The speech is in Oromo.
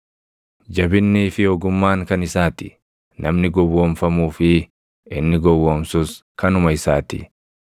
Jabinnii fi ogummaan kan isaa ti; namni gowwoomfamuu fi inni gowwoomsus kanuma isaa ti.